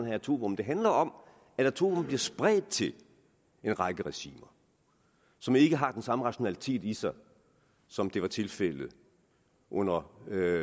atomvåben det handler om at atomvåben bliver spredt til en række regimer som ikke har den samme rationalitet i sig som det var tilfældet under